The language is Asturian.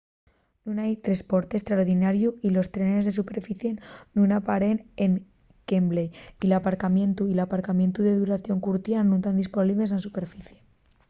nun hai tresporte estraordinariu y los trenes de superficie nun aparen en wembley y l’aparcamientu y l’aparcamientu de duración curtia nun tán disponibles na superficie